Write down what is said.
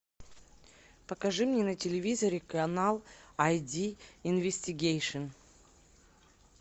покажи мне на телевизоре канал ай ди инвестигейшн